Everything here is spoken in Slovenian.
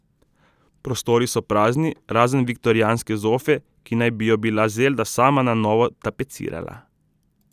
Prostori so prazni, razen viktorijanske zofe, ki naj bi jo bila Zelda sama na novo tapecirala.